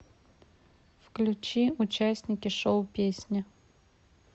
включи участники шоу песни